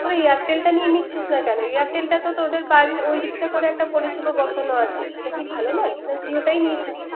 তোরা airter টা নিয়ে নিচ্ছিস না কেন। Airte টা তো তোদের বারি ওইদিকটাই করে একটা পরিসেবা বসানো আছে। ওটা কি ভালো নয়। না জিও টা নিয়েই থাকবি।